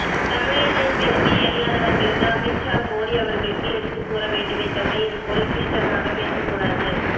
தமிழனின் பெருமை அறியாதவர்களுக்கு அமித்ஷா மோடி அவர்களுக்கு எடுத்துக் கூற வேண்டுமே தவிர இது போல கீழ்தரமாக பேசக்கூடாது